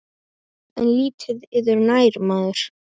En lítið yður nær maður.